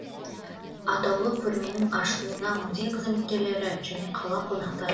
атаулы көрменің ашылуына музей қызметкерлері және қала қонақтары